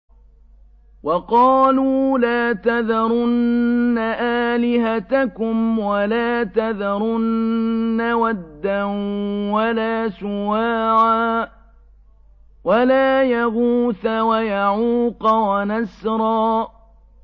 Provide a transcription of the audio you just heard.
وَقَالُوا لَا تَذَرُنَّ آلِهَتَكُمْ وَلَا تَذَرُنَّ وَدًّا وَلَا سُوَاعًا وَلَا يَغُوثَ وَيَعُوقَ وَنَسْرًا